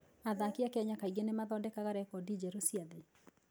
Athaki a Kenya kaingĩ nĩ mathondekaga rekondi njerũ cia thĩ.